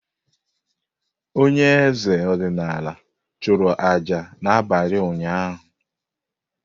Onye eze ọdịnala chụrụ aja n’abalị ụnyahụ.